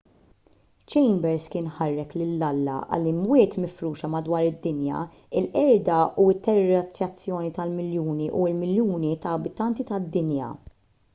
chambers kien ħarrek lil alla għall-"imwiet mifruxa madwar id-dinja il-qerda u t-terrorizzazzjoni ta’ miljuni u miljuni ta’ abitanti tad-dinja.